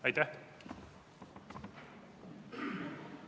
Aitäh!